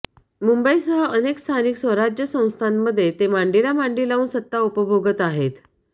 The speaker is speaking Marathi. मुंबईसह अनेक स्थानिक स्वराज्य संस्थांमध्ये ते मांडीला मांडी लावून सत्ता उपभोगत आहेत